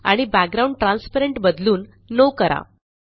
आणि background transparent बदलून नो करा